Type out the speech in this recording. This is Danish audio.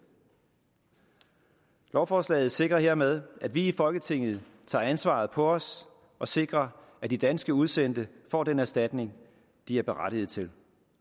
lovforslaget sikrer hermed at vi i folketinget tager ansvaret på os og sikrer at de danske udsendte får den erstatning de berettiget til